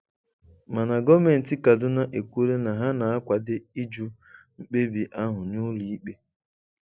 Mana Gọ́mentị Kaduna ekwuola na ha na-akwade ịjụ mkpebi ahụ n'ụlọ ikpe.